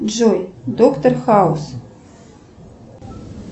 джой доктор хаус